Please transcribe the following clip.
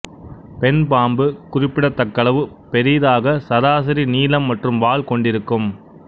பெண் பாம்பு குறிப்பிடத்தக்களவு பெரிதாக சராசரி நீளம் மற்றும் வால் கொண்டிருக்கும்